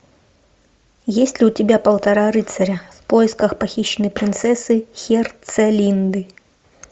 есть ли у тебя полтора рыцаря в поисках похищенной принцессы херцелинды